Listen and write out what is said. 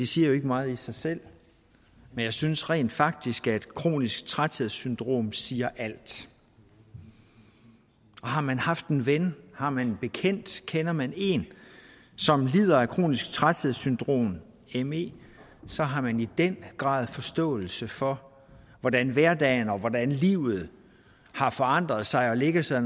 siger jo ikke meget i sig selv men jeg synes rent faktisk at kronisk træthedssyndrom siger alt og har man haft en ven har man en bekendt kender man en som lider af kronisk træthedssyndrom me så har man i den grad forståelse for hvordan hverdagen og hvordan livet har forandret sig og lægger sig